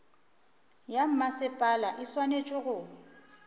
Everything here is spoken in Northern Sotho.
ya mmasepala e swanetše go